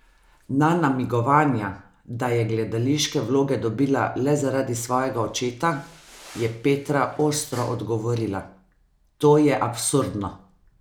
Na namigovanja, da je gledališke vloge dobila le zaradi svojega očeta, je Petra ostro odgovorila: "To je absurdno!